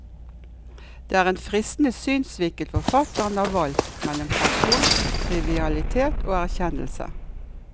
Det er en fristende synsvinkel forfatteren har valgt, mellom pasjon, trivialitet og erkjennelse.